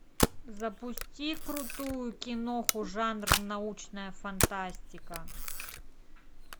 запусти крутую киноху жанр научная фантастика